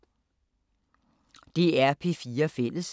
DR P4 Fælles